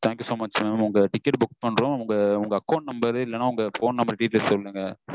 thank you so much உங்களுக்கு ticket book பண்றொம் உங்க account number இல்லனா phone number detail சொல்லுங்க